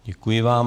Děkuji vám.